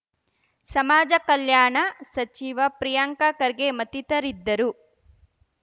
ಸಮಾಜ ಕಲ್ಯಾಣ ಸಚಿವ ಪ್ರಿಯಾಂಕ ಖರ್ಗೆ ಮತ್ತಿತರಿದ್ದರು